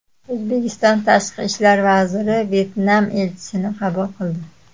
O‘zbekiston Tashqi ishlar vaziri Vyetnam elchisini qabul qildi.